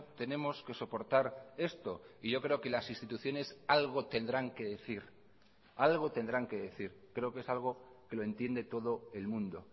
tenemos que soportar esto y yo creo que las instituciones algo tendrán que decir algo tendrán que decir creo que es algo que lo entiende todo el mundo